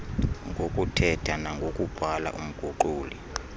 ngokuthetha nangokubhala umguquli